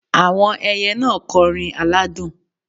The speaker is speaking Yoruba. Àwọn ẹyẹ náà kọrin aládùn